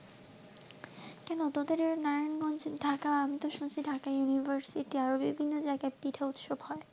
কেন তোদের নারায়ণ গঞ্জে ঢাকা আমি তো শুনছি, ঢাকা university আরো বিভিন্ন জায়গায় পিঠা উৎসব হয়,